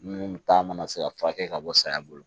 Minnu ta mana se ka furakɛ ka bɔ saya bolo